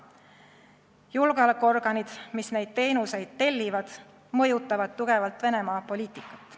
Julgeolekuorganid, mis neid teenuseid tellivad, mõjutavad tugevalt Venemaa poliitikat.